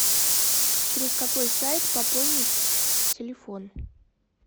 через какой сайт пополнить телефон